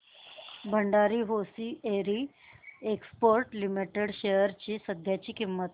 Bhandari hosiery exports limited shares ची सध्याची किंमत